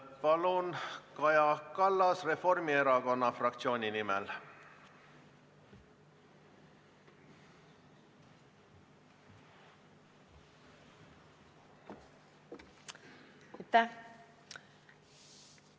Palun, Kaja Kallas, Reformierakonna fraktsiooni nimel!